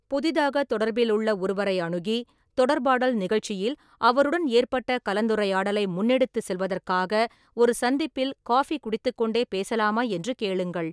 புதிதாகத் தொடர்பிலுள்ள ஒருவரை அணுகி, தொடர்பாடல் நிகழ்ச்சியில் அவருடன் ஏற்பட்ட கலந்துரையாடலை முன்னெடுத்துச் செல்வதற்காக ஒரு சந்திப்பில் காபி குடித்துக்கொண்டே பேசலாமா என்று கேளுங்கள்.